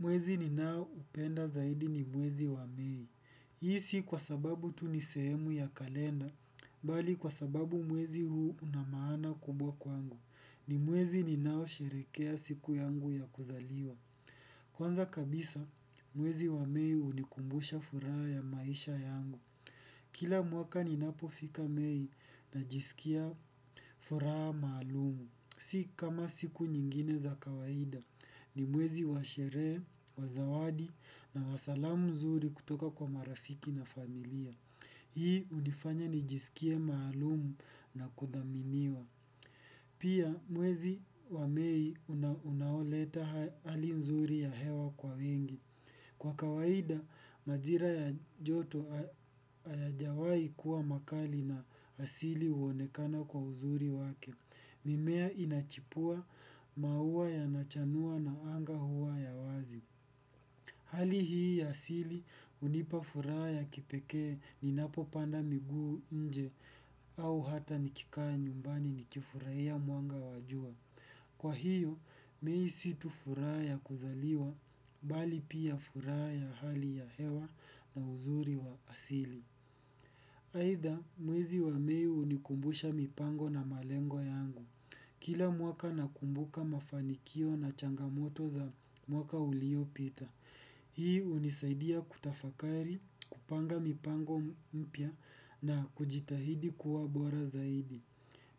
Mwezi ni nao upenda zaidi ni mwezi wa mei. Hii si kwa sababu tu nisehemu ya kalenda, bali kwa sababu mwezi huu unamaana kubwa kwangu. Ni mwezi ni nao sherekea siku yangu ya kuzaliwa. Kwanza kabisa, mwezi wa mei hunikumbusha furaha ya maisha yangu. Kila mwaka ni napofika mei na jisikia furaha maalumu. Si kama siku nyingine za kawaida ni mwezi wa sherehe, wa zawadi na wa salamu nzuri kutoka kwa marafiki na familia. Hii hunifanya ni jisikie maalumu na kudhaminiwa. Pia mwezi wamei unaoleta hali nzuri ya hewa kwa wengi. Kwa kawaida, majira ya joto hayajawahi kuwa makali na asili huonekana kwa uzuri wake. Mimea inachipua maua yanachanua na anga huwa ya wazi. Hali hii ya asili hunipa furaha ya kipekee ni napo panda miguu inje au hata nikikaa nyumbani nikifurahia mwanga wa jua. Kwa hio mei si tu furaha ya kuzaliwa bali pia furaha ya hali ya hewa na uzuri wa asili aidha mwezi wa mei hunikumbusha mipango na malengo yangu. Kila mwaka nakumbuka mafanikio na changamoto za mwaka ulio pita. Hii hunisaidia kutafakari kupanga mipango mpya na kujitahidi kuwa bora zaidi.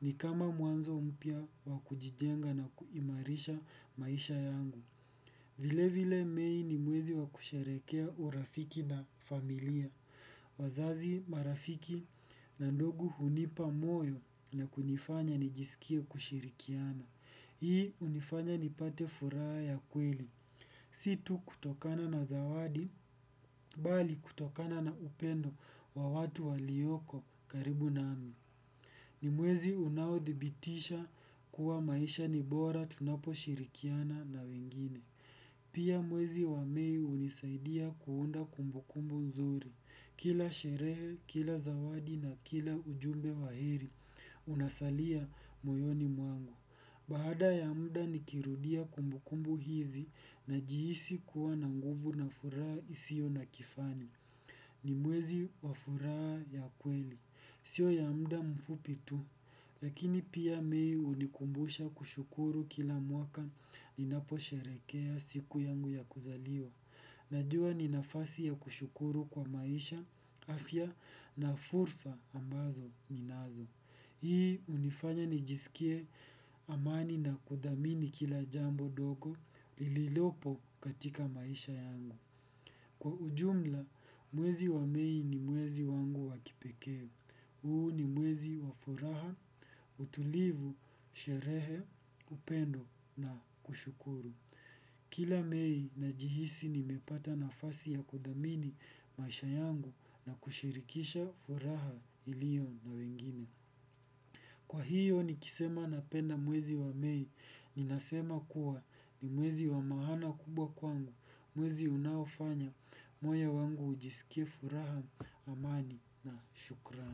Ni kama mwanzo mpya wakujijenga na kuimarisha maisha yangu. Vile vile mei ni mwezi wakusherehekea urafiki na familia. Wazazi marafiki na ndugu hunipa moyo na kunifanya nijisikie kushirikiana. Hii hunifanya nipate furaha ya kweli. Situ kutokana na zawadi, bali kutokana na upendo wa watu walioko karibu nami. Ni mwezi unaodhibitisha kuwa maisha nibora tunapo shirikiana na wengine. Pia mwezi wa mei hunisaidia kuunda kumbukumbu nzuri. Kila sherehe, kila zawadi na kila ujumbe wahiri, unasalia moyoni mwangu. Baada ya muda nikirudia kumbukumbu hizi na jihisi kuwa na nguvu na furaha isio na kifani. Ni mwezi wafuraha ya kweli, sio ya muda mfupi tu, lakini pia mei hunikumbusha kushukuru kila mwaka ninapo sherekea siku yangu ya kuzaliwa. Najua ninafasi ya kushukuru kwa maisha, afya na fursa ambazo ninazo. Hii hunifanya nijisikie amani na kudhamini kila jambo ndogo lililopo katika maisha yangu. Kwa ujumla, mwezi wa mei ni mwezi wangu wakipekee huu ni mwezi wa furaha, utulivu, sherehe, upendo na kushukuru. Kila mei na jihisi ni mepata nafasi ya kudhamini maisha yangu na kushirikisha furaha ilio na wengine. Kwa hiyo ni kisema napenda mwezi wa mei, ni nasema kuwa ni mwezi wa maana kubwa kwangu, mwezi unaofanya. Moyo wangu ujisikie furaha amani na shukrani.